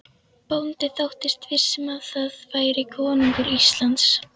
Bóndi þóttist viss um að þar færi konungur Íslands.